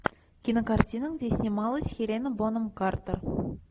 кинокартина где снималась хелена бонем картер